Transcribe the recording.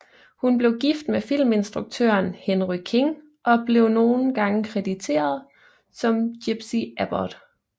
Hun blev gift med filminstruktøren Henry King og blev nogle gange krediteret som gypsie Abbott